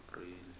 apreli